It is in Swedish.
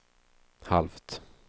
halvt